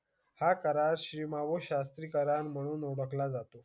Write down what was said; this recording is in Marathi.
हा करार श्री मावळ शास्त्री करा म्हणून ओळख ला जातो.